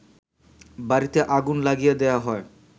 বাড়িতে আগুন লাগিয়ে দেয়া হয়